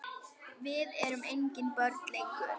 Við erum engin börn lengur.